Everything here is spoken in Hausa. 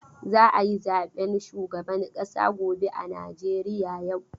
Za a yi zaben shugaban ƙasa gobe a Najeriya yau.